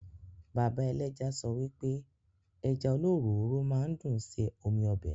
Bàbá ẹlẹ́ja sọ wipe Ẹja olóròóró máa ń dùn ṣe omi ọbẹ̀